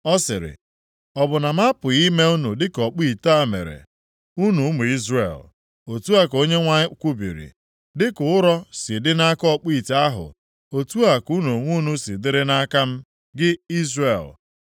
Ọ sịrị, “Ọ bụ na m apụghị ime unu dịka ọkpụ ite a mere, unu ụmụ Izrel?” Otu a ka Onyenwe anyị kwubiri, “Dịka ụrọ si dị nʼaka ọkpụ ite ahụ, otu a ka unu onwe unu si dịrị nʼaka m, gị Izrel.